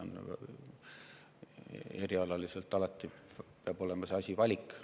Eriala puhul peab alati jääma valik.